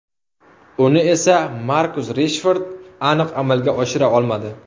Uni esa Markus Reshford aniq amalga oshira olmadi.